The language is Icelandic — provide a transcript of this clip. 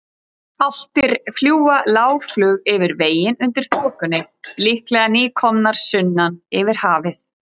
Álftir fljúga lágflug yfir veginn undir þokunni, líklega nýkomnar sunnan yfir hafið.